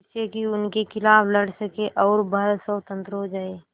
जिससे कि उनके खिलाफ़ लड़ सकें और भारत स्वतंत्र हो जाये